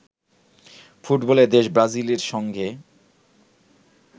ফুটবলের দেশ ব্রাজিলের সঙ্গে